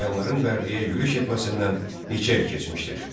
Slavyanların Bərdəyə yürüş etməsindən neçə il keçmişdir?